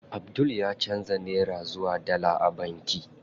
Abdul ya canza nera zuwa dala a banki.